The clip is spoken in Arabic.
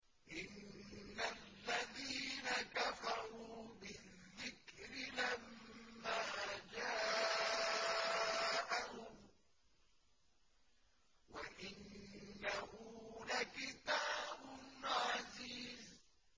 إِنَّ الَّذِينَ كَفَرُوا بِالذِّكْرِ لَمَّا جَاءَهُمْ ۖ وَإِنَّهُ لَكِتَابٌ عَزِيزٌ